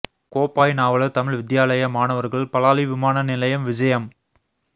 கோப்பாய் நாவலர் தமிழ் வித்தியாலய மாணவர்கள் பலாலி விமான நிலையம் விஜயம்